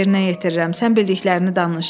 Sən bildiklərini danış.